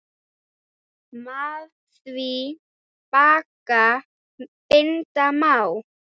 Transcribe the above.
Með því bagga binda má.